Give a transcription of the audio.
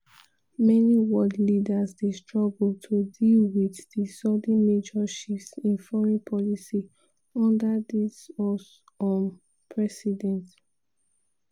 many world leaders dey struggle to deal wit di sudden major shifts in foreign policy under di us um president.